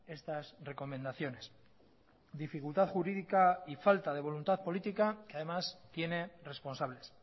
estas recomendaciones dificultad jurídica y falta de voluntad política que además tiene responsables